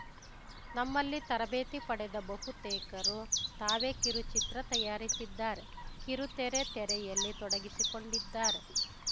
ನಮ್ಮಲ್ಲಿ ತರಬೇತಿ ಪಡೆದ ಬಹುತೇಕರು ತಾವೇ ಕಿರುಚಿತ್ರ ತಯಾರಿಸಿದ್ದಾರೆ ಕಿರುತೆರೆ ತೆರೆಯಲ್ಲಿ ತೊಡಗಿಸಿಕೊಂಡಿದ್ದಾರೆ